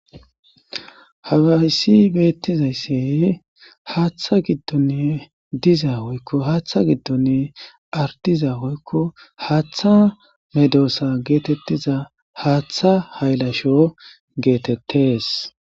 Hawayssi beettizaysse haaththa giddonne diza hoykko haaththa giddonne ardiza hoykko haaththa medoosa geetettiza haaththa haylasho geetettes.